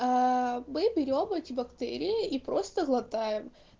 а мы берём эти бактерии и просто глотаем